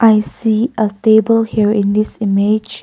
i see a table here in this image.